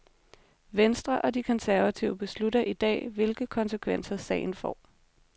Venstre og de konservative beslutter i dag, hvilke konsekvenser sagen får.